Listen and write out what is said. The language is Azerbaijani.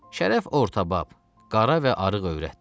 Şərəf ortabab, qara və arıq övrətdir.